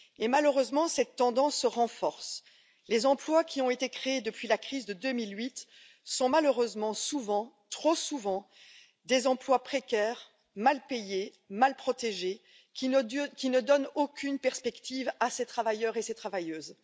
Malheureusement, cette tendance se renforce les emplois qui ont été créés depuis la crise de 2008 sont souvent, trop souvent, des emplois précaires, mal payés, mal protégés, qui ne donnent aucune perspective à ces travailleurs et travailleuses.